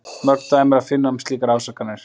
Mörg dæmi er að finna um slíkar ásakanir.